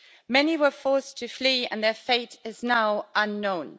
Many were forced to flee and their fate is now unknown.